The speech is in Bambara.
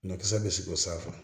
Ɲɔkisɛ bɛ siri o san a fɛ